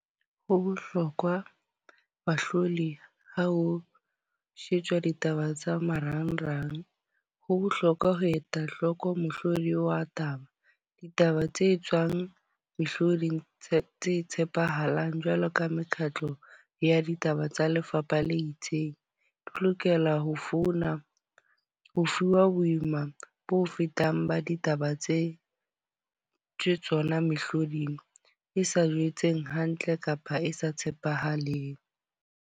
Ho bohlokwa bahlodi ha ho shejwa ditaba tsa marangrang. Ho bohlokwa ho eta hloko mohlodi wa taba. Ditaba tse tswang mehlodi e tshepahalang jwalo ka mekgatlo ya ditaba tsa lefapha le itseng. Di lokela ho founa ho fuwa boima bo fetang ba ditaba tse tsona mehloding, e sa jetseng hantle kapa e sa tshepahaleng.